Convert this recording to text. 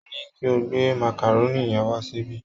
Mo ní kí o gbé màkàrónì yẹn wá síbí